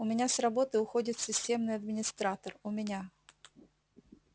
у меня с работы уходит системный администратор у меня